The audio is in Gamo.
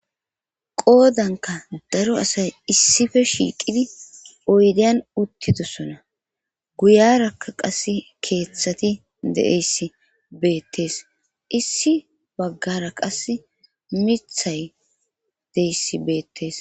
Qoodankka daro asay issife shiiqidi oydiyan uttidosona guyiyaaraka qassi keeththati de7eyssi beettes issi baggara qassi mithay deyssi beettes.